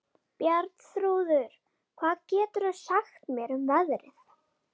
Bjarnþrúður, hvað geturðu sagt mér um veðrið?